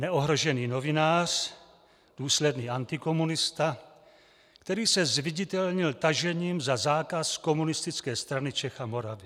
Neohrožený novinář, důsledný antikomunista, který se zviditelnil tažením za zákaz Komunistické strany Čech a Moravy.